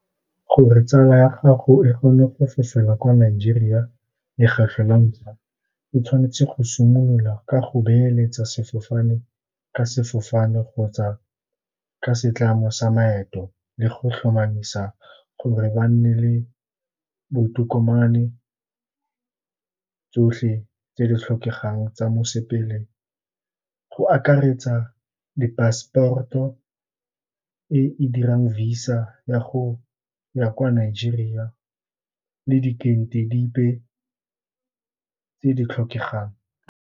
Gore tsala ya gago e kgone go fofela kwa Nigeria lekgetlho la ntlha, e tshwanetse go simolola ka go beeletsa sefofane ka sefofane kgotsa ke setlamo sa maeto le go tlhomamisa gore ba nne le botokomane tsotlhe tse di tlhokegang tsa mosepele, go akaretsa di passport e dirang Visa ya go ya kwa Nigeria le dikete dipe tse di tlhokegang.